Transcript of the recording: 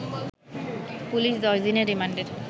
police ১০ দিনের রিমান্ডের